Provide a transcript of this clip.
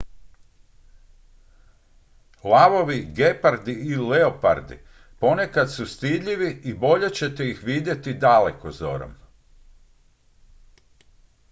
lavovi gepardi i leopardi ponekad su stidljivi i bolje ćete ih vidjeti dalekozorom